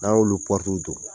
N'an y'olu don